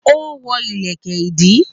Ó wọ́ ìlẹ̀kẹ̀ ìdí